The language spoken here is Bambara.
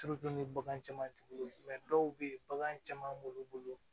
bagan caman t'u bolo dɔw be ye bagan caman b'olu bolo